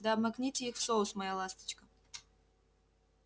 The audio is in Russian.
да обмакните их в соус моя ласточка